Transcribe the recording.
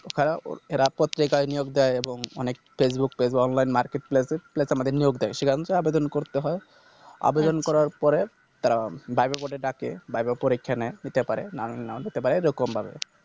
এছাড়া জেগায় নিয়োগ দেয় এব অনেক Facebook page Online Market Place Place আমাদের নিয়োগ দেয় সেখান তো আবেদন করতে হয় আবেদন করার পরে তারা ডাকবে বলে ডাকে ভাইবা পরীক্ষা নেয় নিতে পারে নাও~ নাও নিতে পারে যেরকম পারে